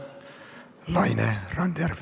Laine Randjärv.